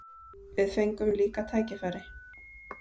Við fengum líka tækifæri.